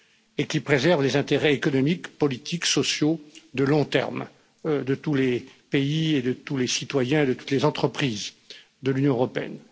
et qui préserve les intérêts économiques, politiques, sociaux, de long terme de tous les pays, de tous les citoyens et de toutes les entreprises de l'Union européenne.